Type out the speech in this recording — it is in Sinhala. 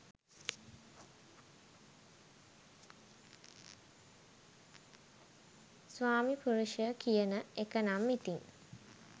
ස්වාමි පුරුෂය කියන එකනම් ඉතින්